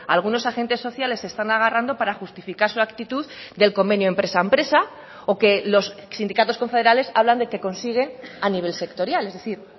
algunos agentes sociales se están agarrando para justificar su actitud del convenio empresa empresa o que los sindicatos confederales hablan de que consiguen a nivel sectorial es decir